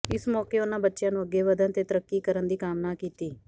ਇਸ ਮੌਕੇ ਉਨ੍ਹਾਂ ਬੱਚਿਆਂ ਨੂੰ ਅੱਗੇ ਵੱਧਣ ਤੇ ਤਰੱਕੀ ਕਰਨ ਦੀ ਕਾਮਨਾ ਕੀਤੀ